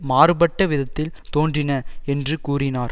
மாறுபட்ட விதத்தில் தோன்றின என்று கூறினார்